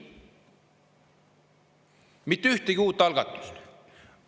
Mitte ühtegi uut algatust.